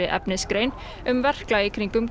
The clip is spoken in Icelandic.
efnisgrein um verklag í kringum